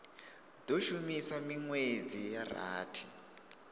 do shuma minwedzi ya rathi